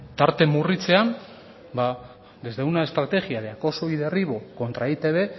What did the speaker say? tarte murritzean ba desde una estrategia de acoso y derribo contra e i te be